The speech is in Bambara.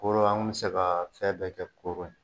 Koro an kun bɛ se ka fɛn bɛɛ kɛ koro yen